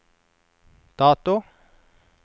dato